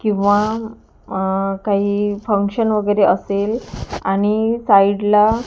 किंवा अह काही फंक्शन वगैरे असेल आणि साईडला --